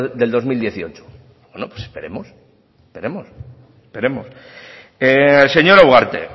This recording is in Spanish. del dos mil dieciocho bueno pues esperemos esperemos esperemos señora ugarte